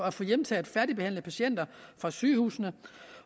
at få hjemtaget færdigbehandlede patienter fra sygehusene